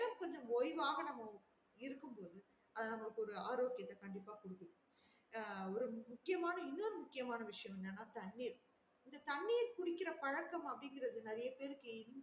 நம்ம கொஞ்சம் ஓய்வாக இருக்கும் போது அது ஒரு ஆரோக்கியத்த கண்டிப்பா குடுக்குது ஆஹ் ஒரு முக்கியமான இன்னொரு முக்கியமான விஷயம் என்னன்னா தண்ணீர் இந்த தண்ணீர் குடிக்குற பழக்கம் நெறையா பேருக்கு கொஞ்ச